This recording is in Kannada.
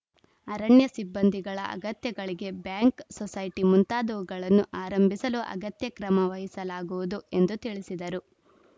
ಅರಣ್ಯ ಸಿಬ್ಬಂದಿಗಳ ಅಗತ್ಯಗಳಿಗೆ ಬ್ಯಾಂಕ್‌ ಸೊಸೈಟಿ ಮುಂತಾದವುಗಳನ್ನು ಆರಂಭಿಸಲು ಅಗತ್ಯ ಕ್ರಮ ವಹಿಸಲಾಗುವುದು ಎಂದು ತಿಳಿಸಿದರು